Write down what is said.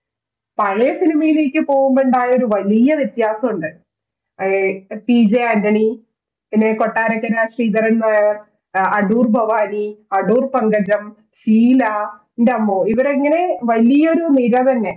പഴയ cinema യിലേക്ക് പോകുമ്പോൾ ഉണ്ടായ ഒരു വലിയ വ്യത്യാസമുണ്ട് ടി ജെ ആന്റണി പിന്നെ കൊട്ടാരക്കര ശ്രീധരൻ നായർ, അടൂർ ഭവാനി, അടൂർ പങ്കജം, ഷീല എന്റമ്മോ ഇവരെങ്ങനെ വലിയൊരു നിര തന്നെ